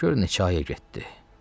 gör neçə ayə getdi.